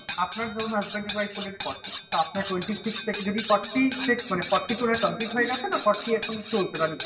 আচ্ছা আপনার ধরুন Husband এর হলেন forty তা আপনার Twenty six থেকে যদি forty মানে forty complete হয়ে গেছে না forty এখন চলছে running?